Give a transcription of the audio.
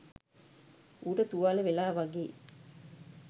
ඌට තුවාල වෙලා වගේ